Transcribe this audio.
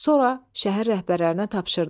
Sonra şəhər rəhbərlərinə tapşırdı: